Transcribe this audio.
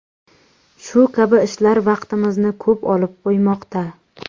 Shu kabi ishlar vaqtimizni ko‘p olib qo‘ymoqda.